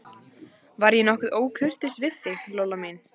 Var ég nokkuð ókurteis við þig, Lolla mín?